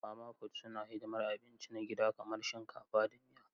Mama fut suna hidimar abinci na gida kamar shinkafa da miya.